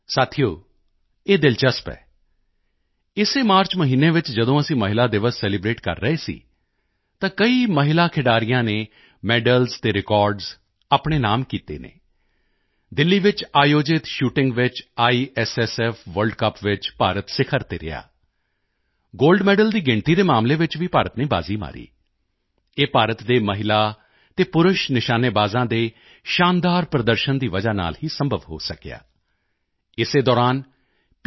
ਸਾਥੀਓ ਇਹ ਦਿਲਚਸਪ ਹੈ ਇਸੇ ਮਾਰਚ ਮਹੀਨੇ ਵਿੱਚ ਜਦੋਂ ਅਸੀਂ ਮਹਿਲਾ ਦਿਵਸ ਸੈਲੀਬ੍ਰੇਟ ਕਰ ਰਹੇ ਸੀ ਤਾਂ ਕਈ ਮਹਿਲਾ ਖਿਡਾਰੀਆਂ ਨੇ ਮੈਡਲਜ਼ ਅਤੇ ਰਿਕਾਰਡਜ਼ ਆਪਣੇ ਨਾਮ ਕੀਤੇ ਹਨ ਦਿੱਲੀ ਵਿੱਚ ਆਯੋਜਿਤ ਸ਼ੂਟਿੰਗ ਵਿੱਚ ਆਈਐਸਐਸਐਫ ਵਰਲਡ ਕੱਪ ਵਿੱਚ ਭਾਰਤ ਸਿਖ਼ਰ ਤੇ ਰਿਹਾ ਗੋਲਡ ਮੈਡਲ ਦੀ ਗਿਣਤੀ ਦੇ ਮਾਮਲੇ ਵਿੱਚ ਵੀ ਭਾਰਤ ਨੇ ਬਾਜ਼ੀ ਮਾਰੀ ਇਹ ਭਾਰਤ ਦੇ ਮਹਿਲਾ ਅਤੇ ਪੁਰਸ਼ ਨਿਸ਼ਾਨੇਬਾਜ਼ਾਂ ਦੇ ਸ਼ਾਨਦਾਰ ਪ੍ਰਦਰਸ਼ਨ ਦੀ ਵਜ੍ਹਾ ਨਾਲ ਹੀ ਸੰਭਵ ਹੋ ਸਕਿਆ ਇਸੇ ਦੌਰਾਨ ਪੀ